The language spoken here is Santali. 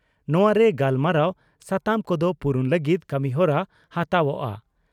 ᱱᱚᱣᱟᱨᱮ ᱜᱟᱞᱢᱟᱨᱟᱣ ᱥᱟᱛᱟᱢ ᱠᱚᱫᱚ ᱯᱩᱨᱩᱱ ᱞᱟᱹᱜᱤᱫ ᱠᱟᱹᱢᱤᱦᱚᱨᱟ ᱦᱟᱛᱟᱣᱜᱼᱟ ᱾